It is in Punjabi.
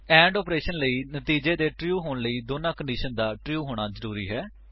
ਐਂਡ ਆਪਰੇਸ਼ਨ ਲਈ ਨਤੀਜੇ ਦੇ ਟਰੂ ਹੋਣ ਲਈ ਦੋਨਾਂ ਕੰਡੀਸ਼ਨ ਦਾ ਟਰੂ ਹੋਣਾ ਜ਼ਰੂਰੀ ਹੈ